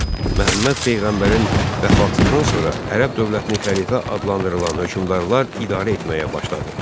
Məhəmməd peyğəmbərin vəfatından sonra ərəb dövlətini xəlifə adlandırılan hökmdarlar idarə etməyə başladı.